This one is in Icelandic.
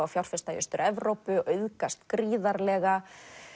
að fjárfesta í Austur Evrópu auðgast gríðarlega